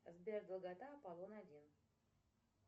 сбер долгота аполлон один